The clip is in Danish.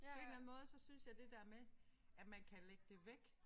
På en eller anden måde så synes jeg det der med at man kan lægge det væk